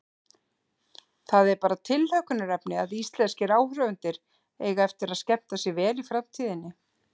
Það er bara tilhlökkunarefni að íslenskir áhorfendur eiga eftir að skemmta sér vel í framtíðinni.